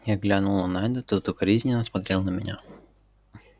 я глянул на найда тот укоризненно смотрел на меня